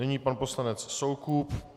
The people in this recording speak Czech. Nyní pan poslanec Soukup.